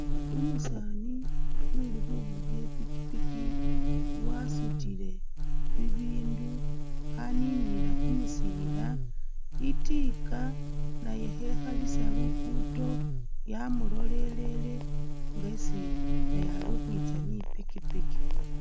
Umusaani uli khuvuga i'pikipiki wasutile ibindu khaninilila kumusiila, itiika nayo khekhalisa luguddo yamulolelele ngesi naye ali khwitsa ni pikipiki.